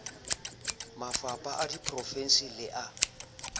mafapha a diprovense le a